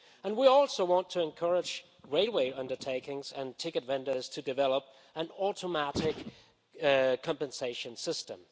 We also want to encourage railway undertakings and ticket vendors to develop an automatic compensation system.